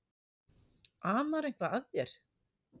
Amar eitthvað að þér?